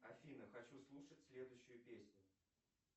афина хочу слушать следующую песню